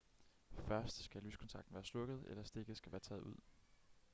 først skal lyskontakten være slukket eller stikket skal være taget ud